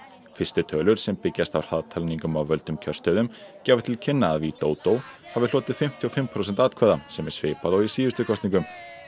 fyrstu tölur sem byggjast á hraðtalningum á völdum kjörstöðum gefa til kynna að hafi hlotið fimmtíu og fimm prósent atkvæða sem er svipað og í síðustu kosningum